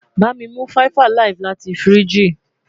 bami mu mi 5 alive lati firiji